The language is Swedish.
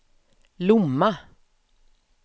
Lomma